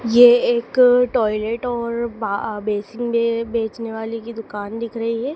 ये एक टायलेट और बा बेसिन है बेचने वाली की दुकान दिख रही है।